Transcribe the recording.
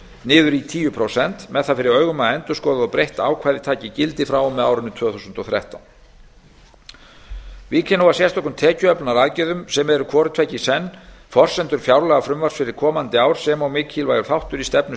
niður í tíu prósent með það fyrir augum að endurskoðað og breytt ákvæði taki gildi frá og með árinu tvö þúsund og þrettán vík ég nú að sérstökum tekjuöflunaraðgerðum sem eru hvort tveggja í senn forsendur fjárlagafrumvarps fyrir komandi ár sem og mikilvægur þáttur í stefnu